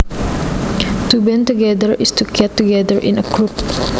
To band together is to get together in a group